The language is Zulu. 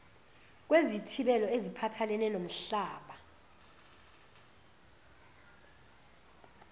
kwezithibelo eziphathelene nomhlaba